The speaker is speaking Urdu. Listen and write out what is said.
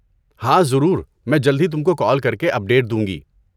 ہاں، ضرور، میں جلد ہی تم کو کال کر کے اپڈیٹ دوں گی۔